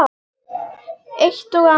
Eitt og annað.